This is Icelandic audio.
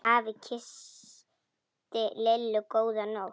Afi kyssti Lillu góða nótt.